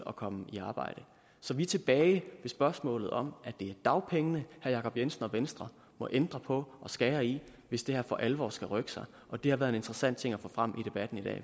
at komme i arbejde så vi er tilbage ved spørgsmålet om at det er dagpengene herre jacob jensen og venstre må ændre på og skære i hvis det her for alvor skal rykke sig og det har været en interessant ting at få frem i debatten i dag